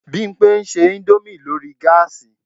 Bímpé ń ṣe indomie lórí gáàsì